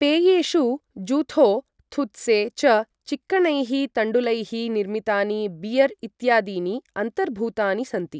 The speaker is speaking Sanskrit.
पेयेषु ज़ुथो, थुत्से च, चिक्कणैः तण्डुलैः निर्मितानि बियर् इत्यादीनि अन्तर्भूतानि सन्ति।